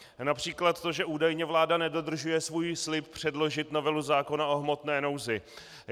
Například to, že údajně vláda nedodržuje svůj slib předložit novelu zákona o hmotné nouzi.